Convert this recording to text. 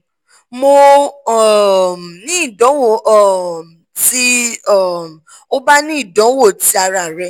mo um ni idanwo um ti um o ba ni idanwo ti ara rẹ